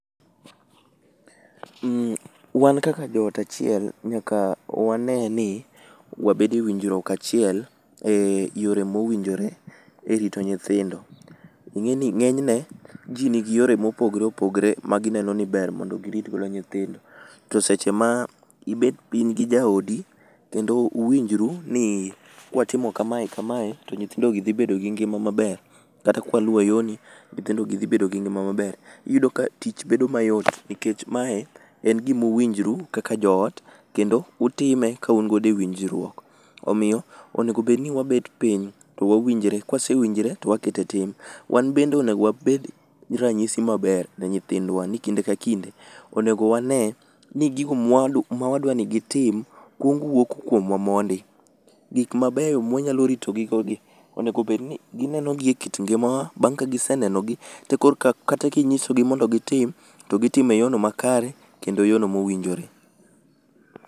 um wan kaka joot achiel, nyaka wanee ni, wabede e winjruok achiel e yore mowinjore e rito nyithindo, ing'eni ng'enyne jii nigi yore mopogore opogore magineno ni ber mondo girit godo nyithindo, to seche ma, ibet piny gi jaodi kendo uwinjru nii kwatimo kamae kamae to nyithindogi dhi bedo gi ngima maber kata kwaluwo yoni nyithindogi dhi bedo gi ngima maber, iyudo ka tich bedo mayot nikech mae en gima uwinjru kaka joot kendo utime kaun godo e winjruok. Omiyo onego bedni wabet piny to wawinjre, kwasewinjre to wakete tim. Wan bende onego wabed ranyisi maber ne nyithindwa ni kinde ka kinde onego wanee ni gigo mwadwa mawadni gitim kuong wuok kuomwa mondi. Gik mabeyo mwayalo ritogi go gi onego bedni gineno gi e kit ngimawa, bang' ka gisenenogi, tekorka kata kinyisogi mondo gitim to gitimo e yono makare kendo yono mowinjore